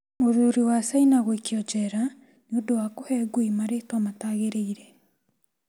Mũthuri wa China gũikio njera nĩ ũndũ wa kũhe ngui marĩĩtwa mataagĩrĩire